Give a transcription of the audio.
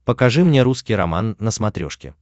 покажи мне русский роман на смотрешке